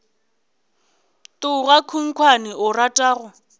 tloga khunkhwane o rata go